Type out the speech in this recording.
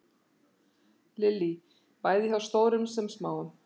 Lillý: Bæði hjá stórum sem smáum?